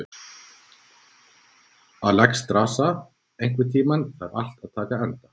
Alexstrasa, einhvern tímann þarf allt að taka enda.